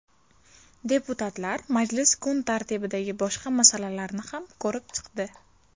Deputatlar majlis kun tartibidagi boshqa masalalarni ham ko‘rib chiqdi.